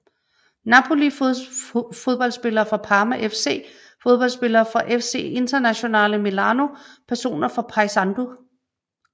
Napoli Fodboldspillere fra Parma FC Fodboldspillere fra FC Internazionale Milano Personer fra Paysandú